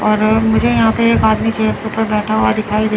मुझे यहां पे एक आदमी चेयर के ऊपर बैठा हुआ दिखाई दे--